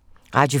Radio 4